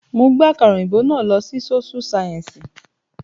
Mo gbé àkàrà òyìnbó náà lọ sí sóṣú sáyẹ́ǹsì